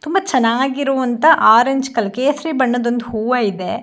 ತುಂಬಾ ಚೆನ್ನಾಗಿರುವಂಥ orange colour ಕೇಸರಿ ಬಣ್ಣದ ಒಂದು ಹೂವ ಇದೆ.